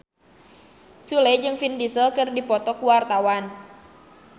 Sule jeung Vin Diesel keur dipoto ku wartawan